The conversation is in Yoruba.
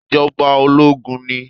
Ìjọba ológun ni